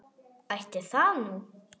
Ætli það nú.